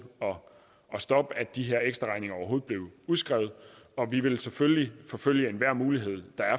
at stoppe at de her ekstraregninger overhovedet blev udskrevet og vi vil selvfølgelig forfølge enhver mulighed